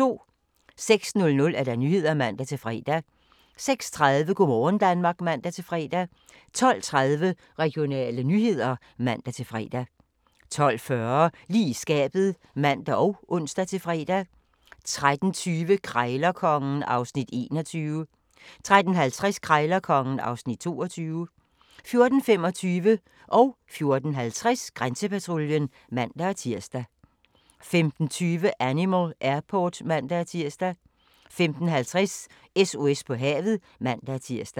06:00: Nyhederne (man-fre) 06:30: Go' morgen Danmark (man-fre) 12:30: Regionale nyheder (man-fre) 12:40: Lige i skabet (man og ons-fre) 13:20: Krejlerkongen (Afs. 21) 13:50: Krejlerkongen (Afs. 22) 14:25: Grænsepatruljen (man-tir) 14:50: Grænsepatruljen (man-tir) 15:20: Animal Airport (man-tir) 15:50: SOS på havet (man-tir)